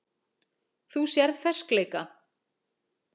Þú sérð ferskleika.